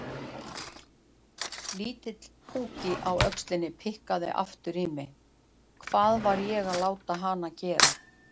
Litli púkinn á öxlunum pikkaði aftur í mig: Hvað var ég að láta hana gera?